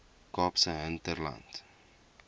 kaapse hinterland